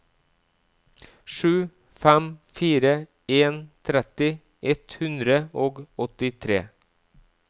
sju fem fire en tretti ett hundre og åttitre